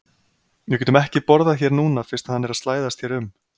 Við getum ekki borðað hér núna fyrst hann er að slæðast hér um